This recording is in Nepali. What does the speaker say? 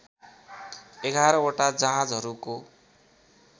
११ वटा जहाजहरूको